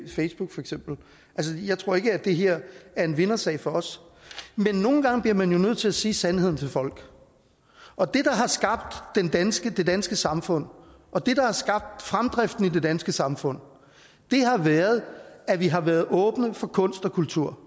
facebook for eksempel jeg tror ikke at det her er en vindersag for os men nogle gange bliver man jo nødt til at sige sandheden til folk og det der har skabt det danske det danske samfund og det der har skabt fremdriften i det danske samfund har været at vi har været åbne over for kunst og kultur